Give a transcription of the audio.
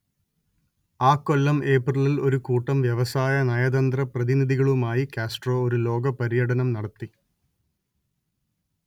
അക്കൊല്ലം ഏപ്രിലിൽ ഒരു കൂട്ടം വ്യവസായ നയതന്ത്ര പ്രതിനിധികളുമായി കാസ്ട്രോ ഒരു ലോക പര്യടനം നടത്തി